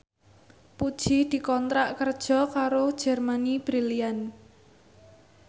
Puji dikontrak kerja karo Germany Brilliant